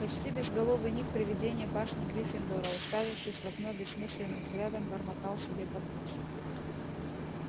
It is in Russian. почти безголовый ник привидение башни гриффиндора уставившись в окно бессмысленным взглядом бормотал себе под нос